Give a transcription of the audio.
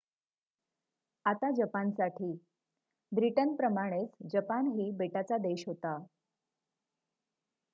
आता जपानसाठी ब्रिटनप्रमाणेच जपानही बेटाचा देश होता